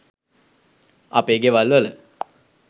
අපේ ගෙවල්වල